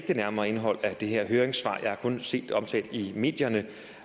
det nærmere indhold af det her høringssvar jeg har kun set det omtalt i medierne